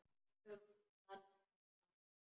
Um allt annað má tala.